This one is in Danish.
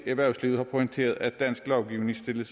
erhvervslivet har pointeret at dansk lovgivning stiller